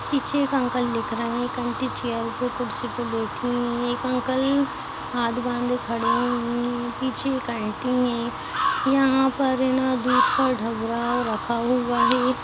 पीछे एक अंकल देख रहे हैं एक आंटी चेयर पे कुर्सी पे बैठी हुई है एक अंकल हाथ बांधे खड़े हुए हैं पीछे एक आंटी हैं यहाँ पर दूध का डब्बा रखा हुआ है।